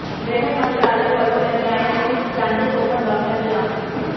ਗ੍ਰਹਿ ਮੰਤਰਾਲੇ ਵੱਲੋਂ ਐਨਆਈਏ ਨੂੰ ਜਾਂਚ ਸੌਂਪਣ ਦਾ ਫ਼ੈਸਲਾ